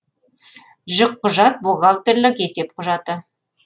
жүкқұжат бухгалтерлік есеп құжаты